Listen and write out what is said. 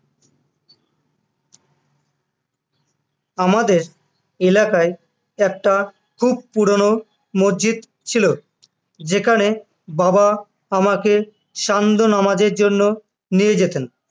আমাদের এলাকায় একটা খুব পুরোনো মসজিদ ছিল যেখানে বাবা আমাকে সান্ধ্য নামাজের জন্য নিয়ে যেতেন